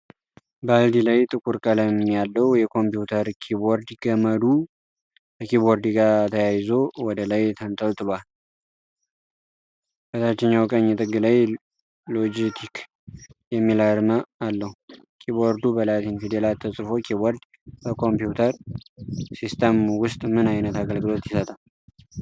ባልዲ ላይ ጥቁር ቀለም ያለው የኮምፒውተር ኪቦርድ። ገመዱ ከኪቦርዱ ጋር ተያይዞ ወደ ላይ ተንጠልጥሏል። በታችኛው ቀኝ ጥግ ላይ 'ሎጂቴክ' የሚል አርማ አለው። ኪቦርዱ በላቲን ፊደላት ተጽፎ። ኪቦርድ በኮምፒውተር ሲስተም ውስጥ ምን አይነት አገልግሎት ይሰጣል?